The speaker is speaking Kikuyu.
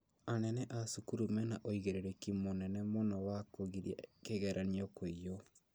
Anene a cukuru mena ũigĩrĩrĩki mũnene mũno wa kũgiria kĩgeranio kũiywo